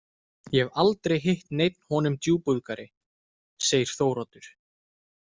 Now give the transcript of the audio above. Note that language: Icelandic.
Ég hef aldrei hitt neinn honum djúpúðgari, segir Þóroddur.